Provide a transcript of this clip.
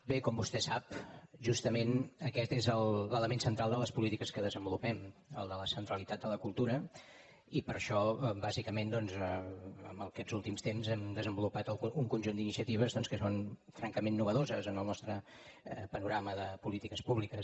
bé com vostè sap justament aquest és l’element central de les polítiques que desenvolupem el de la centralitat de la cultura i per això bàsicament doncs aquests últims temps hem desenvolupat un conjunt d’iniciatives que són francament innovadores en el nostre panorama de polítiques públiques